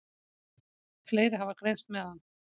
Fleiri hafa greinst með hann.